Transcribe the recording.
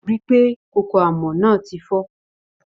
Ri pé kókó àmọ́ náà ti fọ́.